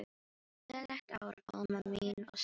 Gleðilegt ár, Alma mín og Sigga.